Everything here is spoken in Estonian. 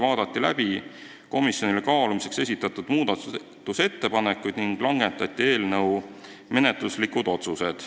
Vaadati läbi komisjonile kaalumiseks esitatud muudatusettepanekud ning langetati eelnõu menetluslikud otsused.